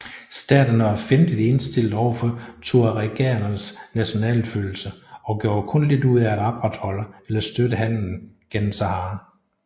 Staterne var fjendtligt indstillet overfor tuaregernes nationalfølelse og gjorde kun lidt ud af at opretholde eller støtte handelen gennem Sahara